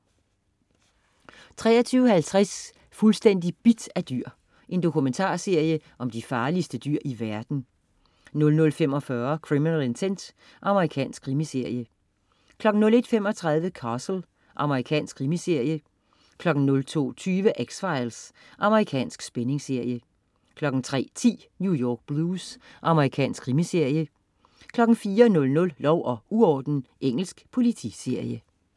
23.50 Fuldstændig bidt af dyr. Dokumentarserie om de farligste dyr i verden 00.45 Criminal Intent. Amerikansk krimiserie 01.35 Castle. Amerikansk krimiserie 02.20 X-Files. Amerikansk spændingsserie 03.10 New York Blues. Amerikansk krimiserie 04.00 Lov og uorden. Engelsk politiserie